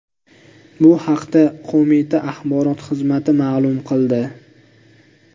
Bu haqda qo‘mita axborot xizmati ma’lum qildi.